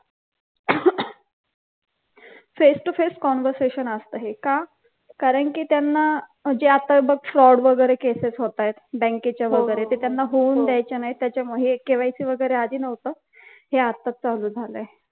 face to face conversation असत हे का? कारण कि त्यांना म्हणजे आता बघ fraud वगैरे cases होतायत बँकेच्या वगैरे तर त्या त्यांना होऊन द्यायच्या नाहीत त्याच्यामुळे हे KYC वगैरे आधी नव्हतं हे आताच चालू झालय